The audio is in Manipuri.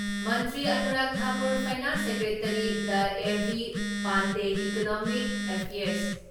ꯃꯟꯇ꯭ꯔꯤ ꯑꯅꯨꯔꯥꯛ ꯊꯥꯀꯨꯔ, ꯐꯥꯏꯅꯥꯟꯁ ꯁꯦꯀ꯭ꯔꯦꯇꯔꯤ ꯗꯥ ꯑꯦ.ꯕꯤ ꯄꯥꯟꯗꯦ, ꯏꯀꯣꯅꯣꯃꯤꯛ ꯑꯦꯐꯤꯌꯔꯁ